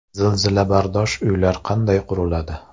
Zilzilabardosh uylar qanday quriladi?